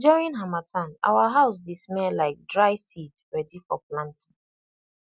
during harmattan our house dey smell like dry seed ready for planting